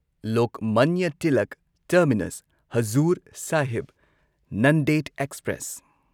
Lokmanya Tilak terminus Hazur Sahib Nanded express